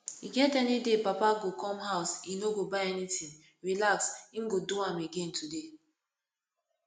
e get any day papa go come house e no go buy anything relax im go do am again today